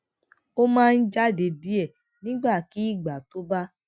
ó máa ń jáde díè nígbàkigbà tó bá